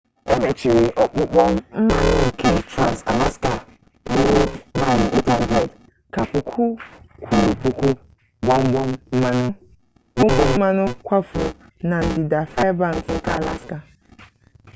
emechiri ọkpọkọ mmanụ nke trans-alaska ruru maịlụ 800 ka puku kwuru puku gbọmgbọm mmanụ kwafuru na ndịda fairbanks nke alaska